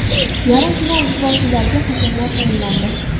Yarim final uchrashuvlariga hakamlar tayinlandi.